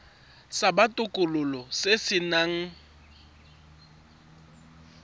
sa botokololo se se nang